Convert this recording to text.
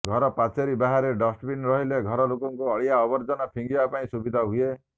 ଘର ପାଚେରୀ ବାହାରେ ଡଷ୍ଟବିନ ରହିଲେ ଘର ଲୋକଙ୍କୁ ଅଳିଆ ଆବର୍ଜନା ଫିଙ୍ଗିବା ପାଇଁ ସୁବିଧା ହୁଏ